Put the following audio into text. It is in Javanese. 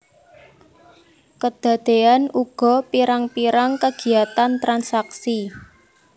Kedadéan uga pirang pirang kegiyatan transaksi